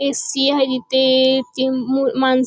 AC. आहे इथे ती मूळ माणसं --